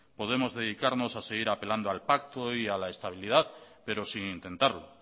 podemos dedicarnos a seguir apelando al pacto y a la estabilidad pero sin intentarlo